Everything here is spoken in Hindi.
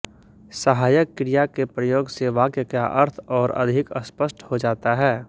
सहायक क्रिया के प्रयोग से वाक्य का अर्थ और अधिक स्पष्ट हो जाता है